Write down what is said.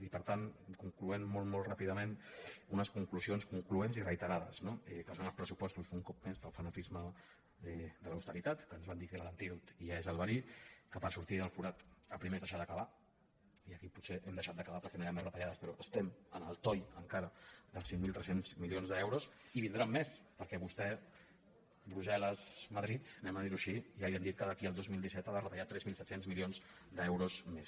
i per tant concloent molt molt ràpidament unes conclusions concloents i reiterades no que fem els pressupostos un cop més del fanatisme de l’austeritat que ens van dir que n’era l’antídot i n’és el verí que per sortir del forat el primer és deixar de cavar i aquí potser hem deixat de cavar perquè no hi han més retallades però estem en el toll encara dels cinc mil tres cents milions d’euros i en vindran més perquè a vostè brussel·lesmadrid diguem ho així ja li han dit que d’aquí al dos mil disset ha de retallar tres mil set cents milions d’euros més